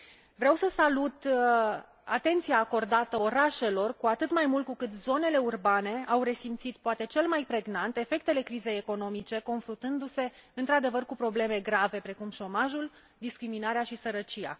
Vreau să salut atenția acordată orașelor, cu atât mai mult cu cât zonele urbane au resimțit, poate cel mai pregnant, efectele crizei economice, confruntându se într adevăr cu probleme grave, precum șomajul, discriminarea și sărăcia.